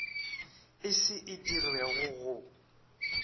e se e dirwego go